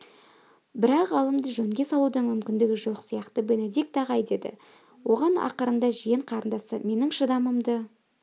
бірақ ғалымды жөнге салудың мүмкіндігі жоқ сияқты бенедикт ағай деді оған ақырында жиен қарындасы менің шыдамымды